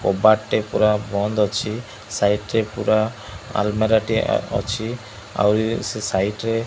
କବାଟ ଟେ ପୁରା ବନ୍ଦ ଅଛି ସାଇଟ୍ ରେ ପୁରା ଆଲ୍ମିରା ଟିଏ ଅ ଅଛି ଆଉ ଉ ସେ ସାଇଟ୍ ରେ --